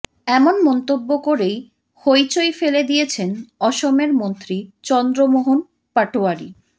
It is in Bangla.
এমন মন্তব্য করেই হইচই ফেলে দিয়েছেন অসমের মন্ত্রী চন্দ্রমোহন পাটোয়ারি